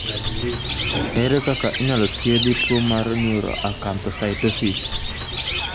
Ere kaka inyalo thiethi tuo mar neuroacanthocytosis ?